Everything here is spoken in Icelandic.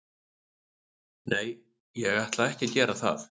Nei, ég ætla ekki að gera það.